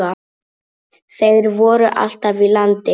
Þeir voru alltaf í landi.